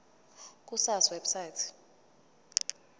ku sars website